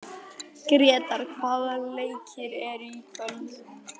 Gretar, hvaða leikir eru í kvöld?